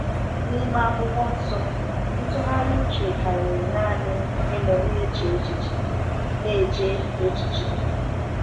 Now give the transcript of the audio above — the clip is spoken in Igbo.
N’ime Akwụkwọ Nsọ, ntụgharị uche karịrị naanị ịnọ na-eche echiche. na-eche echiche.